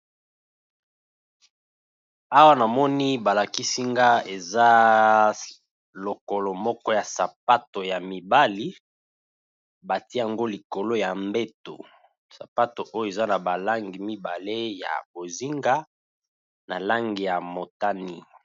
Awa na moni ba lakisi nga eza lokolo moko ya sapato ya mibali, ba tié yango likolo ya mbeto . Sapato oyo eza na ba langi mibale, ya bozinga na lange ya motane .